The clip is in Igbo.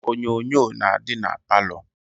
Onyonyo na-adị na palọ